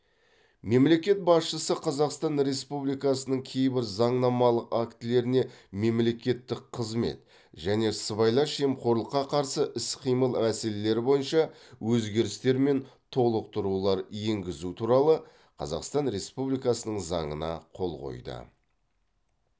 мемлекет басшысы қазақстан республикасының кейбір заңнамалық актілеріне мемлекеттік қызмет және сыбайлас жемқорлыққа қарсы іс қимыл мәселелері бойынша өзгерістер мен толықтырулар енгізу туралы қазақстан республикасы заңына қол қойды